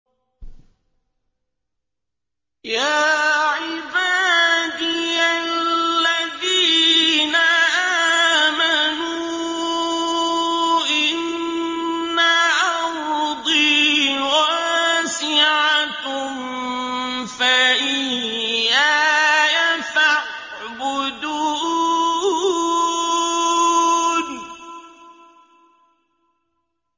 يَا عِبَادِيَ الَّذِينَ آمَنُوا إِنَّ أَرْضِي وَاسِعَةٌ فَإِيَّايَ فَاعْبُدُونِ